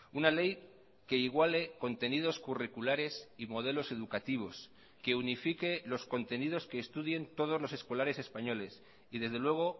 una ley que iguale contenidos curriculares y modelos educativos que unifique los contenidos que estudien todos los escolares españoles y desde luego